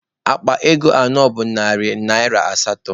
Akpa ego anọ bụ narị naịra asatọ.